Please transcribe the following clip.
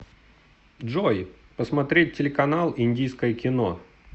джой посмотреть телеканал индийское кино